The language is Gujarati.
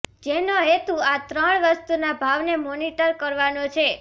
જેનો હેતું આ ત્રણ વસ્તુના ભાવને મોનિટર કરવાનો છે